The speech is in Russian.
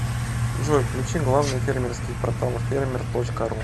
джой включи главный фермерский портал фермер точка ру